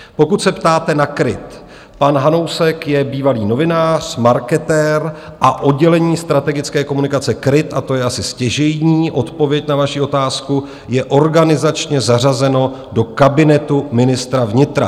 Pokud se ptáte na KRIT, pan Hanousek je bývalý novinář, marketér, a oddělení strategické komunikace KRIT, a to je asi stěžejní odpověď na vaši otázku, je organizačně zařazeno do kabinetu ministra vnitra.